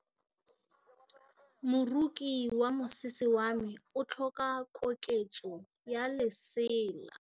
Moroki wa mosese wa me o tlhoka koketsô ya lesela.